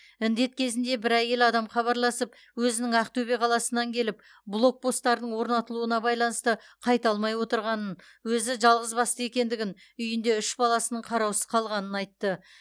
індет кезінде бір әйел адам хабарласып өзінің ақтөбе қаласынан келіп блокпосттардың орнатылуына байланысты қайта алмай отырғанын өзі жалғыызбасты екендігін үйінде үш баласының қараусыз қалғанын айтты